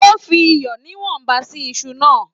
O fi iyọ níwọ̀nba sí Isu náà.